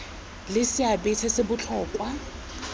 le seabe se se botlhokwa